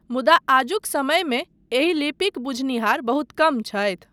मुदा आजुक समयमे एही लिपिक बुझनिहार बहुत कम छथि।